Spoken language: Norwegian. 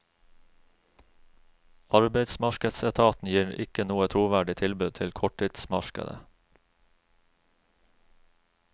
Arbeidsmarkedsetaten gir ikke noe troverdig tilbud på korttidsmarkedet.